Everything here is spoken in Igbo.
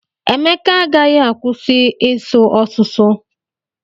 Emeka agaghị akwụsị isu ọsụsụ.